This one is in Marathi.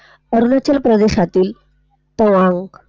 अरुणाचल प्रदेशातील पोंआंग.